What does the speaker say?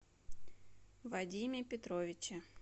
вадиме петровиче